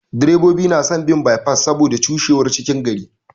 Direbobi na son bin bye pass saboda cushewar cikin gari.